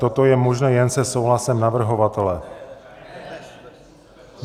Toto je možné jen se souhlasem navrhovatele.